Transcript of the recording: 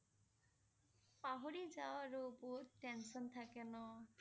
পাহৰি যাওঁ আৰু বহুত tension থাকে ন